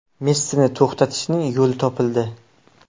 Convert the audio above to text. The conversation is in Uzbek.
Messini to‘xtatishning yo‘li topildi.